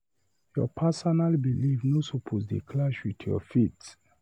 Your personal belif no suppose dey clash wit your faith.